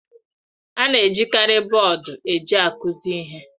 A na-ejikarị bọọdụ ojii akụzi ihe.